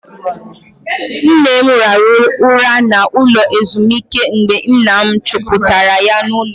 Nne m raruru na ụlọ ezumike mgbe nna m chupuru ya n'ulo.